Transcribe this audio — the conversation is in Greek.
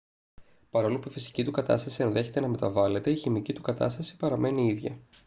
παρόλο που η φυσική του κατάσταση ενδέχεται να μεταβάλλεται η χημική του κατάσταση παραμένει ίδια